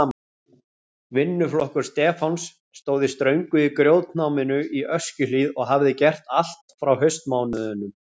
Vinnuflokkur Stefáns stóð í ströngu í grjótnáminu í Öskjuhlíð og hafði gert allt frá haustmánuðum.